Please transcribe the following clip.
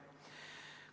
Järgmine küsimus.